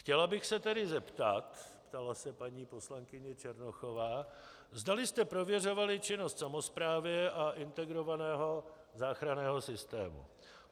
Chtěla bych se tedy zeptat, ptala se paní poslankyně Černochová, zdali jste prověřovali činnost samosprávy a integrovaného záchranného systému.